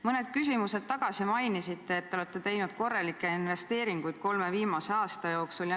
Mõned küsimused tagasi mainisite, et te olete teinud korralikke investeeringuid kolme viimase aasta jooksul.